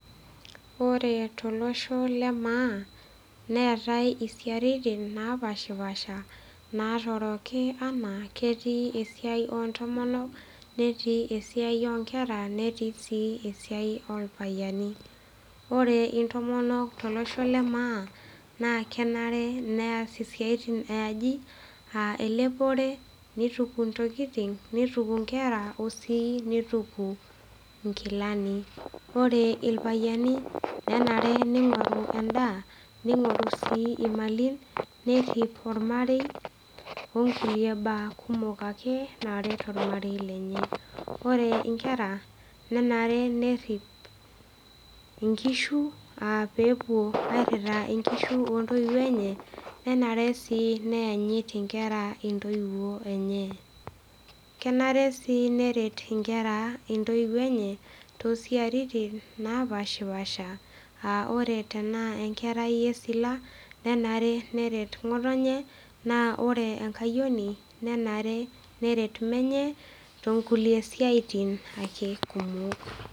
Ore tolosho le maa neatae siaitin napashipasha natooroki ana ketii esiai ontomonok netii esiai onkera netii si enorpayiani ore intomonok tolosho lemaa na kenare neas esiai eaji anaa elepore nituku ntoku ntokitin nituku nkera, osii nituku nkilani, ore irpayiani nenare ningoru endaa ,ningoru si imalim ,nerip ormarei onkulie baa kumok naret ormarei lenye, ore nkera nenare nerip nkishubaa peepuo arip nkishu ontoiwuo enye nenare si neanyit nkera ntoiwuo enye kenare si neret nkera ntoiwuo enye tosiatin napashipasha aa ore tanaa enkerai esila nenare neret ngotonye ,na ore enkayioni nenareperet menue tonkulie siatin kumok.